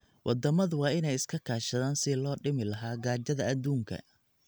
Waddamadu waa inay iska kaashadaan sidii loo dhimi lahaa gaajada adduunka.